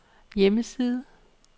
hjemmeside